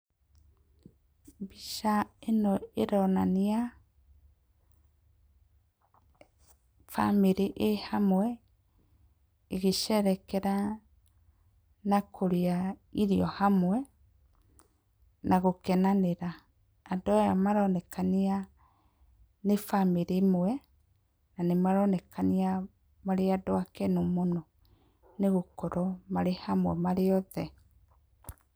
Mbica ĩno ĩronania bamĩrĩ ĩĩ hamwe ĩgĩcerekera na kũrĩa irio hamwe na gũkenanĩra. Andũ aya maronekania nĩ a bamĩrĩ ĩmwe na nĩ maroneka nĩa marĩ andũ akenu mũno nĩgũkorwo marĩ hamwe marĩ othe.